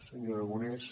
senyor aragonès